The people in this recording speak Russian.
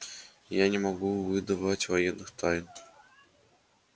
я не могу выдавать военных тайн